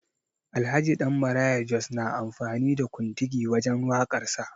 Alhaji Dan Maraya Jos na amfani da kontigi wajen waƙar sa